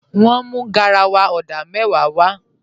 Wọ́n mú garawa odà mẹ́wàá w